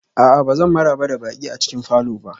A'a, ba zan maraba da baƙi a cikin falor ba